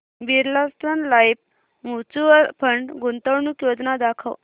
Birla Sun Life mutual fund गुंतवणूक योजना दाखव